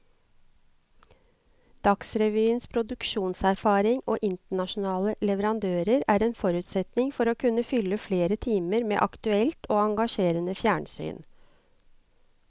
Dagsrevyens produksjonserfaring og internasjonale leverandører er en forutsetning for å kunne fylle flere timer med aktuelt og engasjerende fjernsyn.